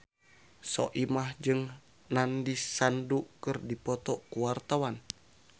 Soimah jeung Nandish Sandhu keur dipoto ku wartawan